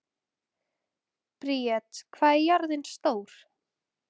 Briet, hvað er jörðin stór?